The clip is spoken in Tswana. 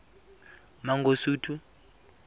mangosuthu